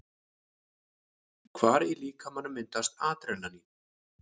Hvar í líkamanum myndast Adrenalín?